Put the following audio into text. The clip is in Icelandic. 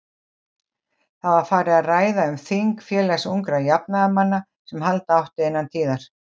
Það var farið að ræða um þing Félags ungra jafnaðarmanna, sem halda átti innan tíðar.